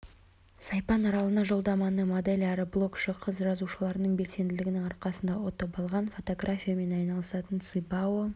сайпан аралына жолдаманы модель әрі блогшы қыз жазылушыларының белсенділігінің арқасында ұтып алған фотографиямен айналысатын ци бао